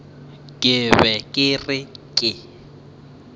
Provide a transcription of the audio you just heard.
ke be ke re ke